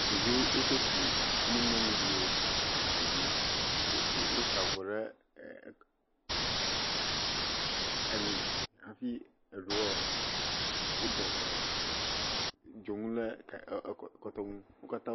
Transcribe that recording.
Ɖeviwo wodo gbi ne nyɔnuviwo wo ha dzim. Wosa avɔ ɖe ali hafi eɖewo wode dzonu ɖe ekɔtome. Wo katã.